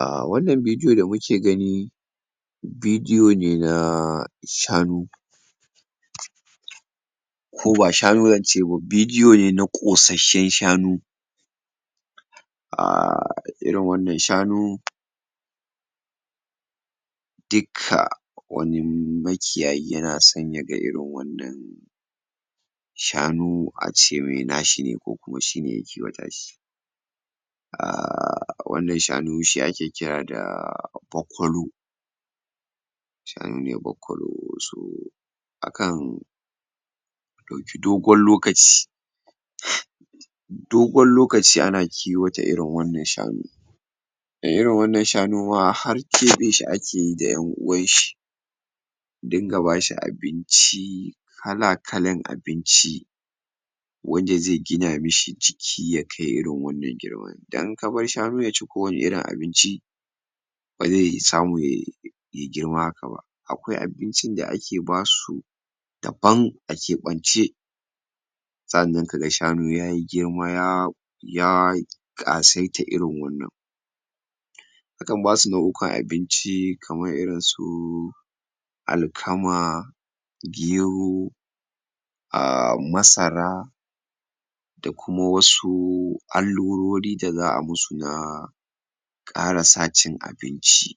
ah wannan bidiyo da muke gani bidiyo ne na shanu? ko ba shanu zance ba bidiyo ne na ƙosasshen shanu um irin wannan shanu dukka wani makiyayi yana son ya ga irin wannan shanu ace mai nashi ne ko kuma shi ne ya kiwata shi um wannan shanu shi ake kira da bakwalo shanu ne bakwalo so akan ɗauki dogon lokaci? dogon lokaci ana kiwata irin wannan shanu din irin wannan shanu ma har keɓe shi akeyi da ƴan uwanshi a dinga bashi abinci kala kalan abinci wanda zai gina mishi jiki ya kai irin wannan girman don in ka bar shanu yaci ko wani irin abinci bazai samu yai ya girma haka ba akwai abincin da ake basu daban a keɓance sa'annan kaga shanu yayi girma ya ya ƙasaita irin wannan akan basu nau'ukan abinci kaman irin su alkama gero um masara da kuma wasu allurori da za'a musu na ƙara sa cin abiinci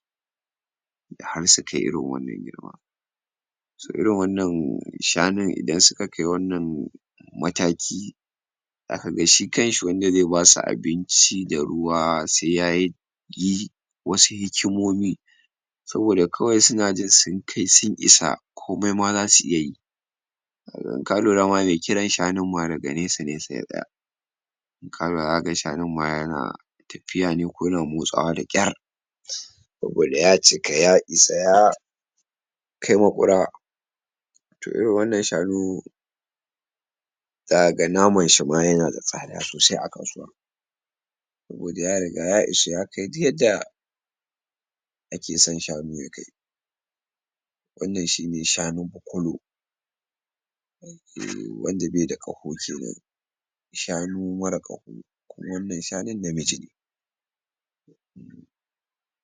har su kai irin wannan girma so irin wannan shanun idan su ka kai wannan mataki zaka ga shi kanshi wanda zai basu abinci da ruwa sai yayi yi wasu hikimomi saboda kawai suna jin sun kai sun isa komai ma zasu iya yi kaga in ka lura ma mai kiran shanun ma daga nesa nesa ya tsaya kaga zaka ga shanun ma yana tapiya ne ko yana motsawa da ƙyar? saboda ya cika ya isa ya kai maƙura to irin wannan shanu zaka ga namanshi ma yana da tsada sosai a kasuwa saboda ya riga ya isa ya kai duk yadda ake san shanu ya kai wannan shine shanu bakwalo um wanda be da ƙaho kenan shanu mara ƙaho kuma wannan shanun namiji ne